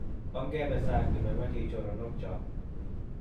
ongebe sang' keboiboichi choronok cho